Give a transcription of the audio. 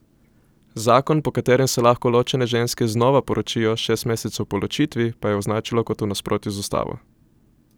Zakon, po katerem se lahko ločene ženske znova poročijo šest mesecev po ločitvi, pa je označilo kot v nasprotju z ustavo.